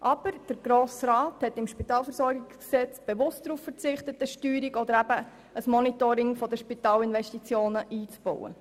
Aber der Grosse Rat hat im Spitalversorgungsgesetz bewusst darauf verzichtet, eine Steuerung oder ein Monitoring der Spitalinvestitionen einzubauen.